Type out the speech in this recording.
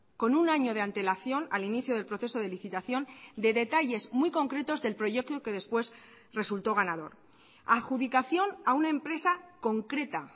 con un año de antelación al inicio del proceso de licitación de detalles muy concretos del proyecto que después resultó ganador adjudicación a una empresa concreta